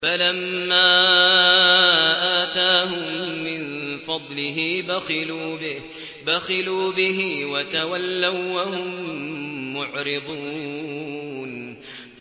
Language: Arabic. فَلَمَّا آتَاهُم مِّن فَضْلِهِ بَخِلُوا بِهِ وَتَوَلَّوا وَّهُم مُّعْرِضُونَ